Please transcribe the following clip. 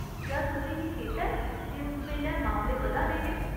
क्या तुसें गी चेता ऐ जे उस बेल्लै मामले बधा दे हे ?